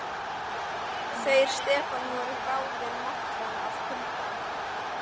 Þeir Stefán voru báðir máttvana af kulda.